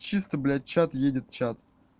чисто блядь чат едет чат